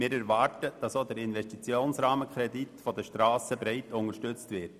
Wir erwarten, dass auch der Investitionsrahmenkredit Strasse breit unterstützt wird.